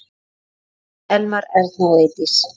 Þín Elmar, Erna og Eydís.